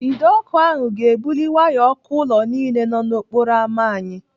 Ide ọkụ ahụ ga-ebuli waya ọkụ ụlọ niile nọ n'okporo ámá anyị.